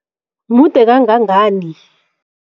Mude kangangani?